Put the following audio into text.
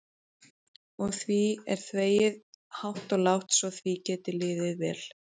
Og því er þvegið hátt og lágt svo því geti liðið vel.